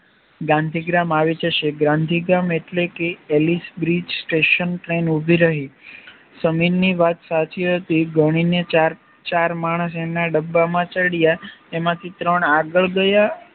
ગ્રાંધીગ્રામ આવી જશે ગ્રાંધીગ્રામ એટલે કે તેલીજ બ્રિજ સ્ટેશન બસ ટ્રેન ઉભી રહી સમીરની વાત સાચી હતી ગણી ને ચાર માણશ એમના ડબ્બામાં ચડ્યા એમાંથી ત્રણ આગળ ગયા